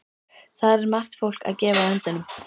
Þar er margt fólk að gefa öndunum.